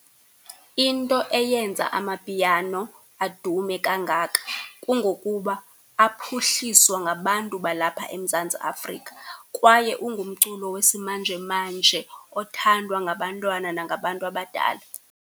Into eyenza amapiano adume kangaka kungokuba aphuhliswa ngabantu balapha eMzantsi Afrika kwaye ungumculo wesimanje manje othandwa ngabantwana nangabantu abadala.